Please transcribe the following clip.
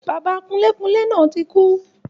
Bàbá kunlékunlé náà tí kú